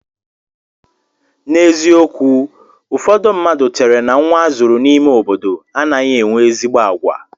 N'eziokwu ụfọdụ mmadụ chère na nnwa azụrụ n'ime obodo anaghị enwe ezi àgwà.